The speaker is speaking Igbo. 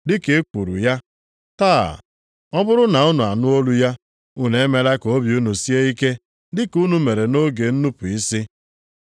Dị ka e kwuru ya, “Taa, ọ bụrụ na unu anụ olu ya. Unu emela ka obi unu sie ike, dịka unu mere nʼoge nnupu isi.” + 3:15 \+xt Abụ 95:7,8\+xt*